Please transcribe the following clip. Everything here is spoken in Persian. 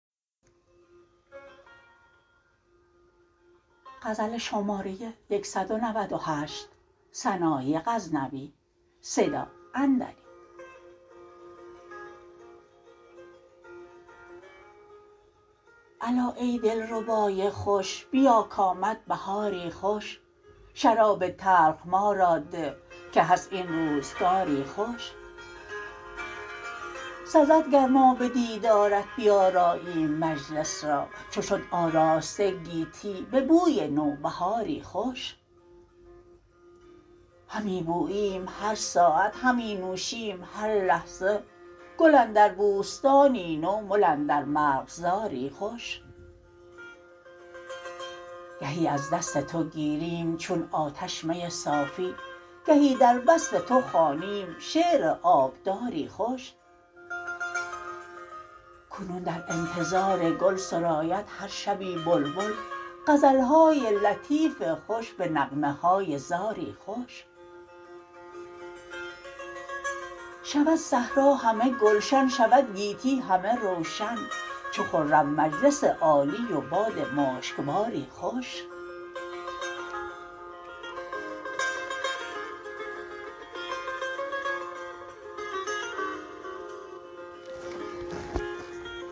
الا ای دلربای خوش بیا کامد بهاری خوش شراب تلخ ما را ده که هست این روزگاری خوش سزد گر ما به دیدارت بیاراییم مجلس را چو شد آراسته گیتی به بوی نوبهاری خوش همی بوییم هر ساعت همی نوشیم هر لحظه گل اندر بوستانی نو مل اندر مرغزاری خوش گهی از دست تو گیریم چون آتش می صافی گهی در وصف تو خوانیم شعر آبداری خوش کنون در انتظار گل سراید هر شبی بلبل غزلهای لطیف خوش به نغمه های زاری خوش شود صحرا همه گلشن شود گیتی همه روشن چو خرم مجلس عالی و باد مشکباری خوش